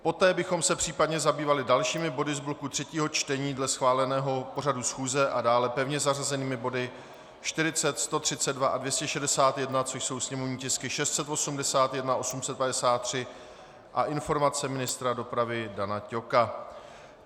Poté bychom se případně zabývali dalšími body z bloku třetího čtení dle schváleného pořadu schůze a dále pevně zařazenými body 40, 132 a 261, což jsou sněmovní tisky 681, 853, a informace ministra dopravy Dana Ťoka.